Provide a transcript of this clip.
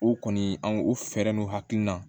O kɔni an o fɛɛrɛninw hakilina